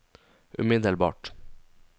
umiddelbart